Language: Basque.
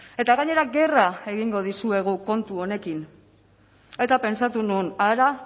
eta gainera gerra egingo dizuegu kontu honekin eta pentsatu nuen hara